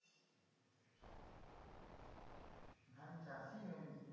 ধান চাষীই হয়নি তো বেশি,